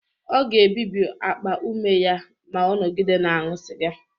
Ọ ga-ebibi akpa ume ya ma ọ nọgide na-aṅụ sịga